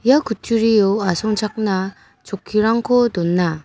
ia kutturio asongchakna chokkirangko dona.